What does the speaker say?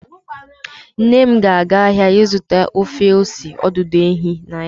Nnem na aga ahịa ịzụta ofe ose ọdụdụ ehi dị na ya